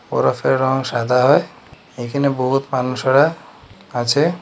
বরফের রং সাদা হয় এইখানে বহুত মানুষেরা আছে।